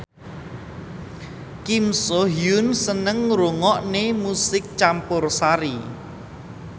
Kim So Hyun seneng ngrungokne musik campursari